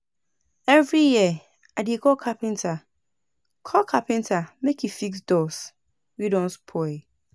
Every year, I dey call carpenter call carpenter make e fix doors wey don spoil.